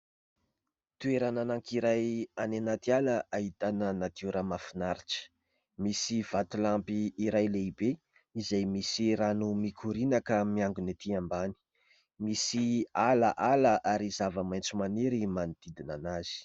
Toerana anankiray any anaty ala ahitana natiora mahafinaritra. Misy vatolampy iray lehibe izay misy rano mikoriana ka miangona ety ambany. Misy ala ala ary zava-maitso maniry manodidina azy.